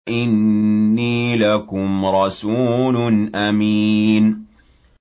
إِنِّي لَكُمْ رَسُولٌ أَمِينٌ